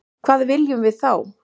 Hvað viljum við þá?